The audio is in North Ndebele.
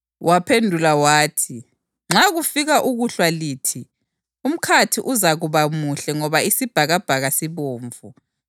Waphendula wathi, “Nxa kufika ukuhlwa lithi, ‘Umkhathi uzakuba muhle ngoba isibhakabhaka sibomvu,’